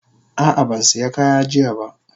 Ah ah ban siya kaya jiya ba.